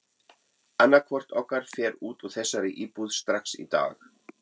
Annaðhvort okkar fer út úr þessari íbúð strax í dag!